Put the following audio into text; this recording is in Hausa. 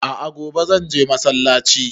A'a gobe zan je masallaci